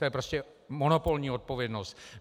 To je prostě monopolní odpovědnost.